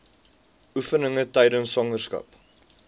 oefeninge tydens swangerskap